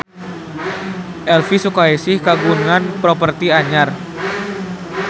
Elvy Sukaesih kagungan properti anyar